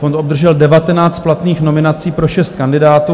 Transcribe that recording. Fond obdržel 19 platných nominací pro 6 kandidátů.